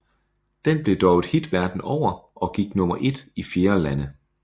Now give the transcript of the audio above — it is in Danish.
Den blev dog et hit verden over og gik nummer ét i flere lande